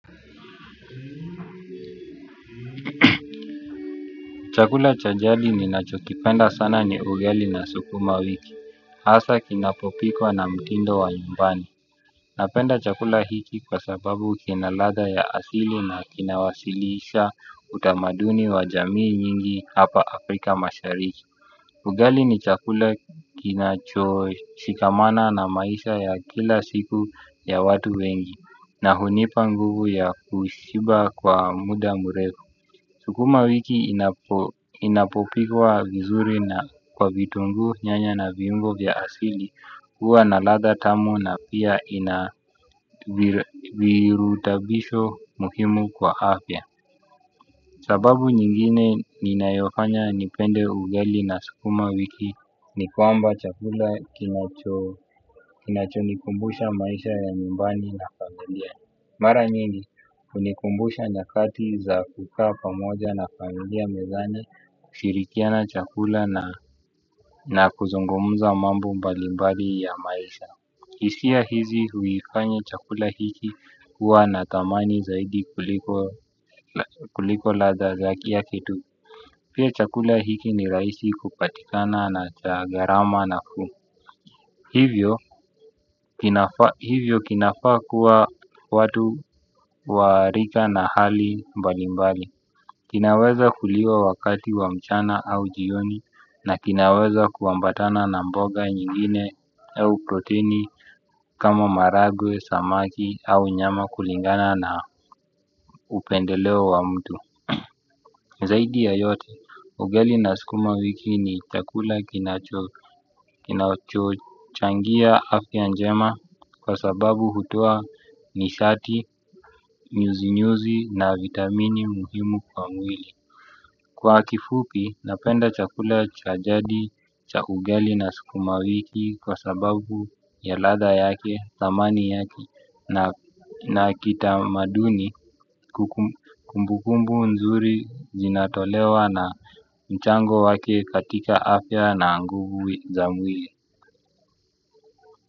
Chakula cha jadi ninachokipenda sana ni ugali na sukuma wiki. Hasa kinapopikwa na mtindo wa nyumbani. Napenda chakula hiki kwa sababu kina ladha ya asili na kinawasilisha utamaduni wa jamii nyingi hapa Afrika mashariki. Ugali ni chakula kinachoshikamana na maisha ya kila siku ya watu wengi. Na hunipa nguvu ya kushiba kwa muda mrefu. Sukuma wiki inapopikwa vizuri na kwa vitunguu nyanya na viungo vya asili huwa na ladha tamu na pia ina virutubisho muhimu kwa afya. Sababu nyingine ninayofanya nipende ugali na sukuma wiki ni kwamba chakula kinachonikumbusha maisha ya nyumbani. Mara nyingi hunikumbusha nyakati za kukaa pamoja na familia mezani kushirikiana chakula na kuzungumza mambo mbalimbali ya maisha hisia hizi huifanya chakula hiki kuwa na thamani zaidi kuliko ladha yake tu. Pia chakula hiki ni rahisi kupatikana na cha gharama nafuu. Hivyo kinafaa kuwa watu wa rika na hali mbalimbali. Kinaweza kuliwa wakati wa mchana au jioni na kinaweza kuambatana na mboga nyingine au protini kama maharagwe, samaki au nyama kulingana na upendeleo wa mtu. Zaidi ya yote, ugali na sukuma wiki ni chakula kinachochangia afya njema kwa sababu hutoa nishati, nyuzi nyuzi na vitamini muhimu kwa mwili. Kwa kifupi, napenda chakula cha jadi cha ugali na sukuma wiki kwa sababu ya ladha yake, thamani yake na kitamaduni kumbukumbu nzuri zinatolewa na mchango wake katika afya na nguvu za mwili.